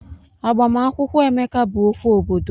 Agbamakwụkwọ Emeka bụ okwu obodo.